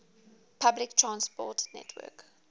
public transport network